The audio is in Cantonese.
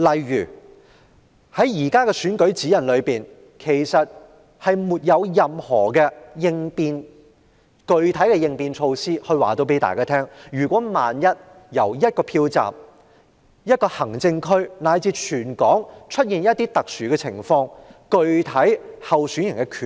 現行的選舉活動指引並無任何具體應變措施，說明萬一某個票站、某個行政區以至全港出現特殊情況，候選人將有何權利。